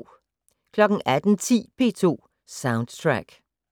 18:10: P2 Soundtrack